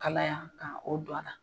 Kalaya ka o don a la.